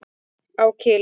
Á Kili.